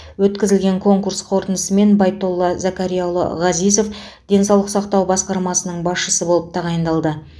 өткізілген конкурс қорытындысымен байтолла закарьяұлы ғазизов денсаулық сақтау басқармасының басшысы болып тағайындалды